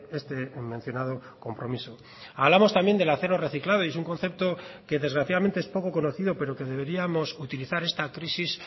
este mencionado compromiso hablamos también del acero reciclado y es un concepto que desgraciadamente es poco conocido pero que deberíamos utilizar esta crisis